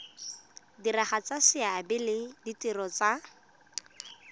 diragatsa seabe le ditiro tsa